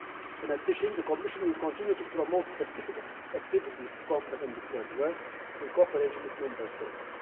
In addition, the Commission will continue to promote specific activities to combat undeclared work, in cooperation with the Member States.